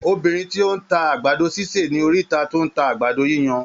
Obìnrín tí ó ń ta àgbàdo sísè ní oríta tún ń ta àgbàdo yíyan.